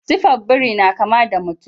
Sifar biri na kama da ta mutum.